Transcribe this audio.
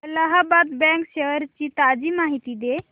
Allahabad bank shares ची ताजी माहिती दे